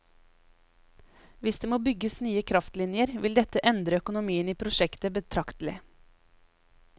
Hvis det må bygges nye kraftlinjer, vil dette endre økonomien i prosjektet betraktelig.